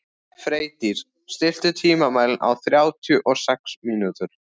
Freydís, stilltu tímamælinn á þrjátíu og sex mínútur.